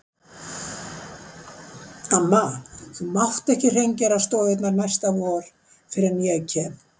Amma, þú mátt ekki hreingera stofurnar næsta vor fyrr en ég kem.